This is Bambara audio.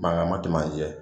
Mangan ma tɛmɛ an jɛ